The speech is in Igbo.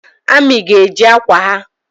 Amị ga-eji akwa ha